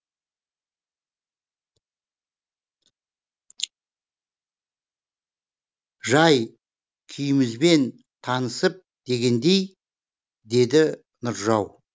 жай күйімізбен танысып дегендей деді нұржау